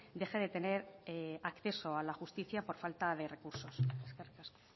deje de tener acceso a la justicia por falta de recursos eskerrik asko